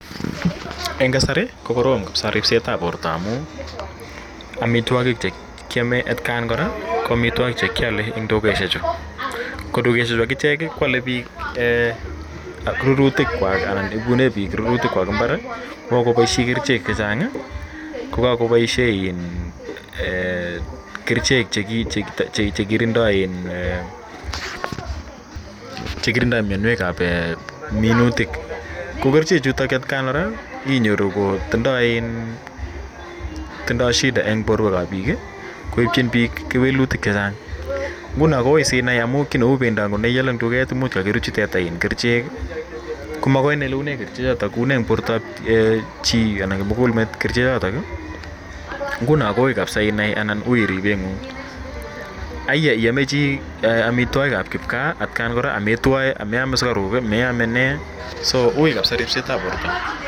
Eng' kasari ko korom kapisa rispset ap porto anu amitwogik che kiame atkan kora ko amitwogik che kiale eng' dukoshechu. Ko dukoshechu akichek ko ale piik rurutikwak anan pekune piik rurutikwak imbar ko kakopaishe kerichek che chang', mo kakopaishe kerichek che kirindai mianwek ap minutik. Ko kerichechutok atkan kora inyoru kotindai shida eng' porwek ap piik, koipchin piik kewelutik che chang'. Nguno ko ui asinai, kou nguno pendo ne iale eng' duket ko much kakirutchi teta kerichek, ko makoi inai ile une kerichechotok. Une eng' portap chi anan kimugul met kerichechotok. Nguno ko ui kapsa inai anan ui ripeng'ung'. Aya iame chi amitwogik ap kipka atakan kora, ametwae, ame ame sukaruk, meame nee. So ui kapsa ripset ap porto.